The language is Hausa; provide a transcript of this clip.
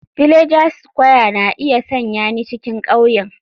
Villager square na iya sanya ni cikin ƙauyen.